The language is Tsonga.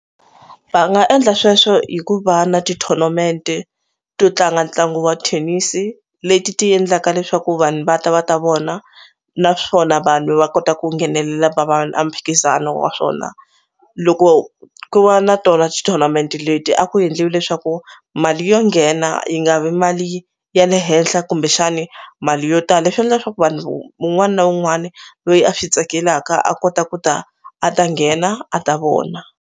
Va nga endla sweswo hi ku va na ti-tournament to tlanga ntlangu wa thenisi leti ti endlaka leswaku vanhu va ta va ta vona naswona vanhu va kota ku nghenelela va va a mphikizano wa swona loko ku va na tona xi tournament leti a ku endliwi leswaku mali yo nghena yi nga vi mali ya le henhla kumbexani mali yo tala leswi endla leswaku vanhu mun'wani na un'wani loyi a swi tsakelaka a kota ku ta a ta nghena a ta vona.